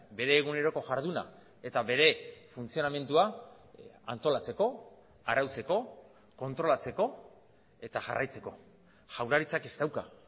bere eguneroko jarduna eta bere funtzionamendua antolatzeko arautzeko kontrolatzeko eta jarraitzeko jaurlaritzak ez dauka